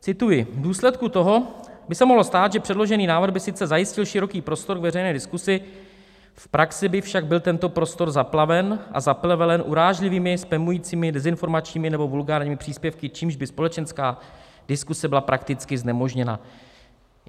Cituji: "V důsledku toho by se mohlo stát, že předložený návrh by sice zajistil široký prostor k veřejné diskuzi, v praxi by však byl tento prostor zaplaven a zaplevelen urážlivými, spamujícími, dezinformačními nebo vulgárními příspěvky, čímž by společenská diskuze byla prakticky znemožněna."